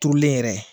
Turulen yɛrɛ